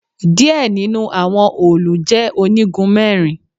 Díẹ̀ nínú àwọn òòlù je onígun mẹ́rin